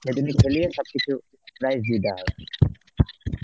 সেদিনই খেলিয়ে সবকিছু prize দিয়ে দেওয়া হয়.